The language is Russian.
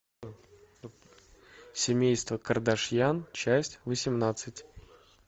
семейство кардашьян часть восемнадцать